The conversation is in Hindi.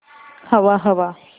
हवा हवा